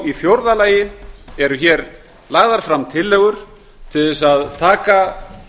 í fjórða lagi eru hér lagðar fram tillögur til að taka